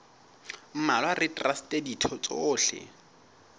mmalwa le traste ditho tsohle